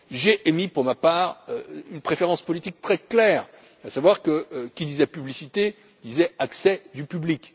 l'emploi. J'ai émis pour ma part une préférence politique très claire, à savoir que, qui disait publicité disait accès du